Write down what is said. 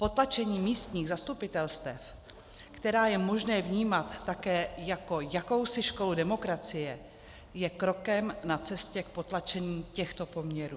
Potlačení místních zastupitelstev, která je možné vnímat také jako jakousi školu demokracie, je krokem na cestě k potlačení těchto poměrů.